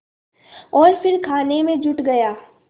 और फिर खाने में जुट गया